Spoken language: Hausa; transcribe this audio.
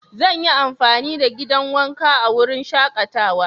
Zan yi amfani da gidan wanka a wurin shakatawa.